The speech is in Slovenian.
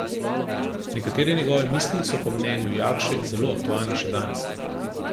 Nekatere njegove misli so po mnenju Jakše zelo aktualne še danes.